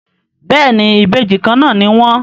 béèni Ìbejì kànnà ní wón.